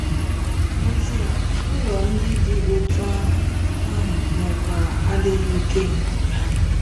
N'ezie, ụlọ ndị dị otú ahụ ahụ nwekwara adịghị ike ha.